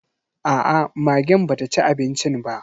Aa, magen ba ta ci abincin ba.